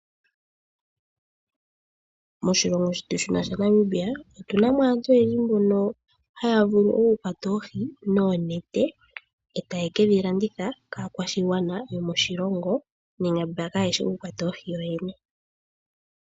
Moshilongo shetu shino Namibia. Otu namo aanto oyendji mboka haya vulu oku kwata oohi noonete, etaye kedhi landitha kaakwashigwana yomoshilongo nenge kayeshi oku kwata oohi yo yene.